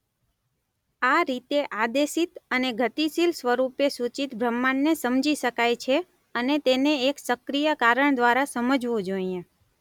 આ રીતે આદેશિત અને ગતિશીલ સ્વરૂપે સૂચિત બ્રહ્માંડને સમજી શકાય છે અને તેને એક સક્રિય કારણ દ્વારા સમજવું જોઈએ.